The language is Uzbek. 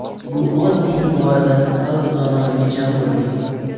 Bu oddiy iborada xalq donoligi jam bo‘lgan.